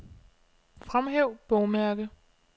Fremhæv bogmærke.